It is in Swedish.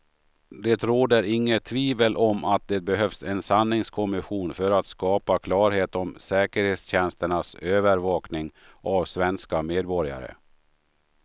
Det råder inget tvivel om att det behövs en sanningskommission för att skapa klarhet om säkerhetstjänsternas övervakning av svenska medborgare.